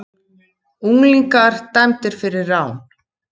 Unglingar dæmdir fyrir rán